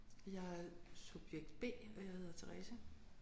Jeg er subjekt B og jeg hedder Therese